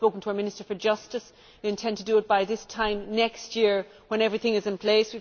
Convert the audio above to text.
I have spoken to our Minister for Justice, and we intend to do it by this time next year, when everything is in place.